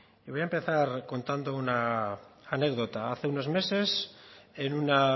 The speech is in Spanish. y voy a empezar contando una anécdota hace unos meses en una